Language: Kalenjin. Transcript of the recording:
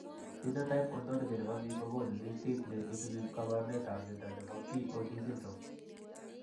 Phenotype Ontology ne po biik ko konu listiit ne isubiap kaabarunetap mnyando ne po BOD syndrome.